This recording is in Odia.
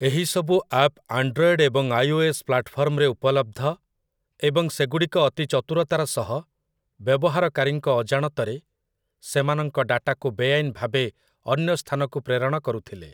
ଏହିସବୁ ଆପ୍ ଆଣ୍ଡ୍ରଏଡ଼୍ ଏବଂ ଆଇ.ଓ.ଏସ୍‌. ପ୍ଲାଟ୍‌ଫର୍ମରେ ଉପଲବ୍ଧ ଏବଂ ସେଗୁଡ଼ିକ ଅତି ଚତୁରତାର ସହ, ବ୍ୟବହାରକାରୀଙ୍କ ଅଜାଣତରେ, ସେମାନଙ୍କ ଡାଟାକୁ ବେଆଇନ ଭାବେ ଅନ୍ୟ ସ୍ଥାନକୁ ପ୍ରେରଣ କରୁଥିଲେ ।